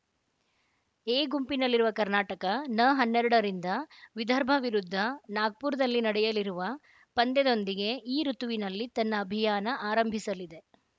A ಗುಂಪಿನಲ್ಲಿರುವ ಕರ್ನಾಟಕ ನ ಹನ್ನೆರಡರಿಂದ ವಿದರ್ಭ ವಿರುದ್ಧ ನಾಗ್ಪುರದಲ್ಲಿ ನಡೆಯಲಿರುವ ಪಂದ್ಯದೊಂದಿಗೆ ಈ ಋುತುವಿನಲ್ಲಿ ತನ್ನ ಅಭಿಯಾನ ಆರಂಭಿಸಲಿದೆ